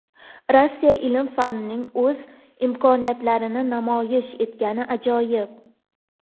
Rossiya ilm-fanining o‘z imkoniyatlarini namoyish etgani ajoyib.